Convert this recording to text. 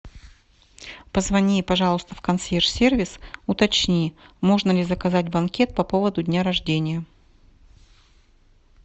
позвони пожалуйста в консьерж сервис уточни можно ли заказать банкет по поводу дня рождения